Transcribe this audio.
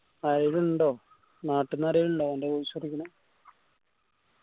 ആരേലും ഇണ്ടോ? നാട്ടന്ന് ആരാ ഇള്ളേ അന്റ